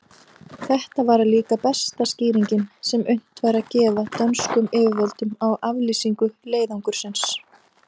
Þetta væri líka besta skýringin, sem unnt væri að gefa dönskum yfirvöldum á aflýsingu leiðangursins.